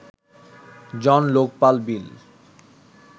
Jan Lokpal বিল